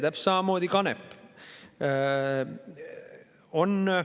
Täpselt samamoodi kanep.